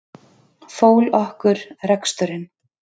Fól okkur reksturinn.